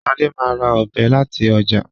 Shade má rà Ọ̀bẹ láti ọjà.